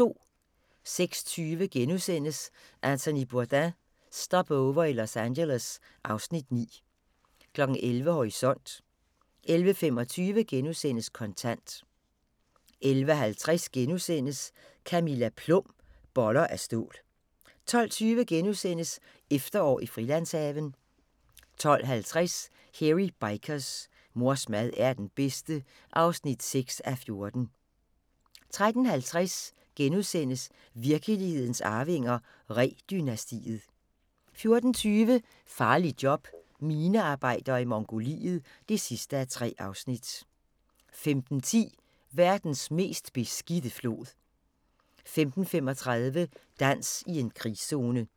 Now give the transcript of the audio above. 06:20: Anthony Bourdain – Stopover i Los Angeles (Afs. 9)* 11:00: Horisont 11:25: Kontant * 11:50: Camilla Plum – Boller af stål (5:6)* 12:20: Efterår i Frilandshaven * 12:50: Hairy Bikers: Mors mad er den bedste (6:14) 13:50: Virkelighedens Arvinger: Ree-dynastiet * 14:20: Farligt job – minearbejder i Mongoliet (3:3) 15:10: Verdens mest beskidte flod 15:35: Dans i en krigszone